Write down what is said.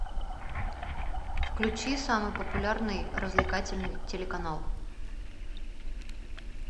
включи самый популярный развлекательный телеканал